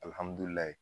Alihamudulila